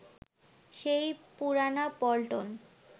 সেই পুরানা পল্টন